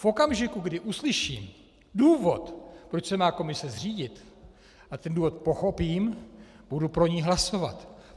V okamžiku, kdy uslyším důvod, proč se má komise zřídit, a ten důvod pochopím, budu pro ni hlasovat.